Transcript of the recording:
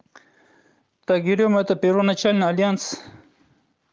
тагиров это первоначальный альянс